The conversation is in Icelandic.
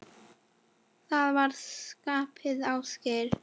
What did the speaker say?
Það var skipið Ásgeir